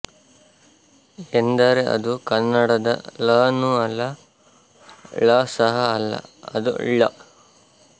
ಎಂದರೆ ಅದು ಕನ್ನಡದ ಲನೂ ಅಲ್ಲ ಳ ಸಹ ಅಲ್ಲ ಅದು ಲ್ಳ